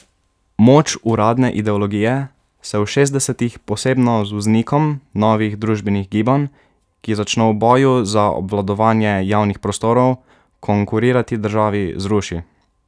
Moč uradne ideologije se v šestdesetih, posebno z vznikom novih družbenih gibanj, ki začno v boju za obvladovanje javnih prostorov konkurirati državi, zruši.